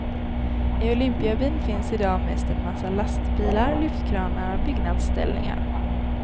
I olympiabyn finns i dag mest en massa lastbilar, lyftkranar och byggnadsställningar.